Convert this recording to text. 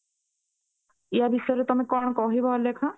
ୟା ବିଷୟରେ ତମେ କଣ କହିବା ଅଲେଖ